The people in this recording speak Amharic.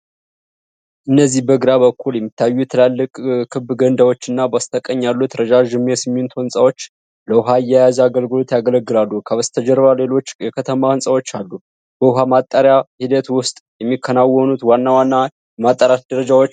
እነዚህ በግራ በኩል የሚታዩት ትላልቅ ክብ ገንዳዎችና በስተቀኝ ያሉት ረዣዥም የሲሚንቶ ሕንፃዎች ለውሃ አያያዝ አገልግሎት ያገለግላሉ። ከበስተጀርባ ሌሎች የከተማ ሕንፃዎች አሉ። በውሃ ማጣሪያ ሂደት ውስጥ የሚከናወኑት ዋና ዋና የማጥራት ደረጃዎች ምንድናቸው?